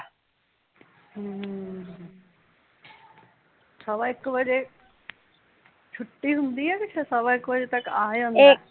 ਹਮ, ਸਵਾ ਇੱਕ ਵਜੇ ਛੁੱਟੀ ਹੁੰਦੀ ਐ ਕਿ ਸਵਾ ਇੱਕ ਵਜੇ ਤੱਕ ਆ ਜਾਂਦਾ